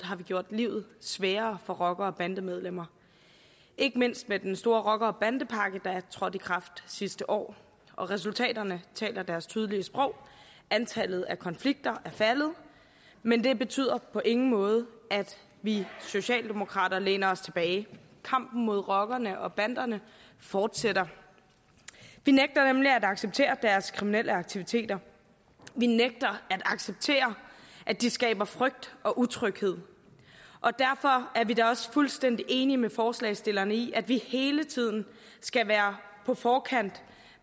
har vi gjort livet sværere for rockere og bandemedlemmer ikke mindst med den store rocker og bandepakke der trådte i kraft sidste år resultaterne taler deres tydelige sprog antallet af konflikter er faldet men det betyder på ingen måde at vi socialdemokrater læner os tilbage kampen mod rockerne og banderne fortsætter vi nægter nemlig at acceptere deres kriminelle aktiviteter vi nægter at acceptere at de skaber frygt og utryghed og derfor er vi også fuldstændig enige med forslagsstillerne i at vi hele tiden skal være på forkant